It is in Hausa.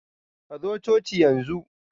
Kazo cocin yanzu!